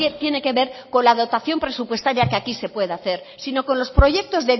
tiene que ver con la dotación presupuestaria que aquí se pueda hacer sino con los proyectos